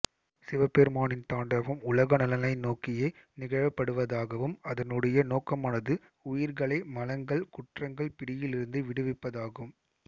சிவபெருமானின் தாண்டவம் உலக நலனை நோக்கியே நிகழ்ப்படுவதாகவும் அதனுடைய நோக்கமானது உயிர்களை மலங்கள் குற்றங்கள் பிடியிலிருந்து விடுவிப்பதாகும்